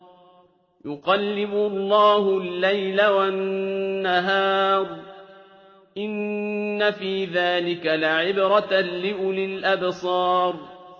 يُقَلِّبُ اللَّهُ اللَّيْلَ وَالنَّهَارَ ۚ إِنَّ فِي ذَٰلِكَ لَعِبْرَةً لِّأُولِي الْأَبْصَارِ